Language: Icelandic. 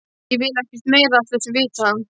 Ég vil ekkert meira af þessu vita.